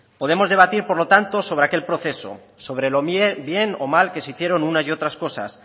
podemos debatir por lo tanto sobre aquel proceso sobre lo bien o lo mal que se hicieron unas y otras cosas